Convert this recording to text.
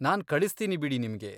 ನಾನ್ ಕಳಿಸ್ತೀನಿ ಬಿಡಿ ನಿಮ್ಗೆ.